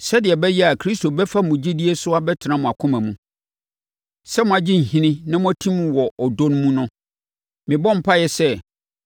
sɛdeɛ ɛbɛyɛ a Kristo bɛfa mo gyidie so abɛtena mo akoma mu. Sɛ moagye nhini na moatim wɔ ɔdɔ mu no, mebɔ mpaeɛ sɛ